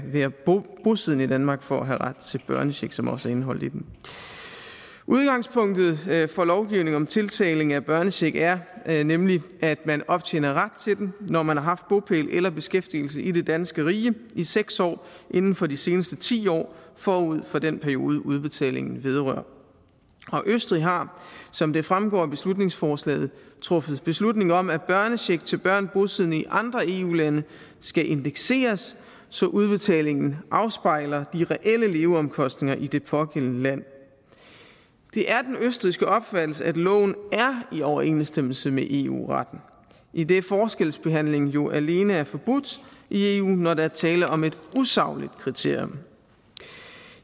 være bosiddende i danmark for at have ret til børnecheck som også er indeholdt i den udgangspunktet for lovgivning om tildeling af børnecheck er er nemlig at man optjener ret til den når man har haft bopæl eller beskæftigelse i det danske rige i seks år inden for de seneste ti år forud for den periode udbetalingen vedrører østrig har som det fremgår af beslutningsforslaget truffet beslutning om at børnecheck til børn bosiddende i andre eu lande skal indekseres så udbetalingen afspejler de reelle leveomkostninger i det pågældende land det er den østrigske opfattelse at loven er i overensstemmelse med eu retten idet forskelsbehandlingen jo alene er forbudt i eu når der er tale om et usagligt kriterie